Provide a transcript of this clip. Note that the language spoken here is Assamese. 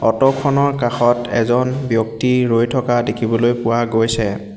অ'টো খনৰ কাষত এজন ব্যক্তি ৰৈ থকা দেখিবলৈ পোৱা গৈছে।